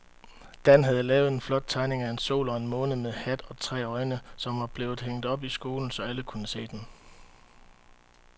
Dan havde lavet en flot tegning af en sol og en måne med hat og tre øjne, som blev hængt op i skolen, så alle kunne se den.